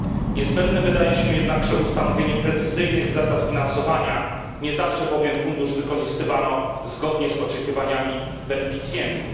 Niezbędne wydaje się jednakże ustanowienie precyzyjnych zasad finansowania, nie zawsze bowiem Fundusz wykorzystywano zgodnie z oczekiwaniami beneficjentów.